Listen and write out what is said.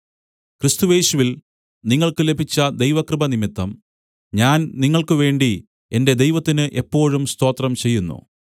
ക്രിസ്തുയേശുവിൽ നിങ്ങൾക്ക് ലഭിച്ച ദൈവകൃപനിമിത്തം ഞാൻ നിങ്ങൾക്ക് വേണ്ടി എന്റെ ദൈവത്തിന് എപ്പോഴും സ്തോത്രം ചെയ്യുന്നു